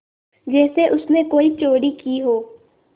जैसे उसने कोई चोरी की हो